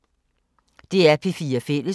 DR P4 Fælles